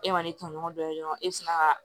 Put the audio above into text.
E ma ne tɔɲɔgɔn dɔ ye dɔrɔn e bɛ se ka